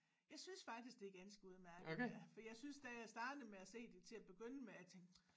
Jeg synes faktisk det er ganske udmærket ja for jeg synes da jeg startede med at se det til at begynde med jeg tænkte